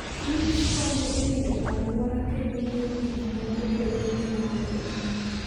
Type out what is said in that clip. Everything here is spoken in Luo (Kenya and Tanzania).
Kich konyo e rito alwora kendo miyo gik moko bedo gi muya.